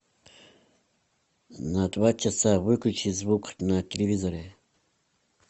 на два часа выключи звук на телевизоре